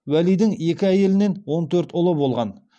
уәлидің екі әйелінен он төрт ұлы болған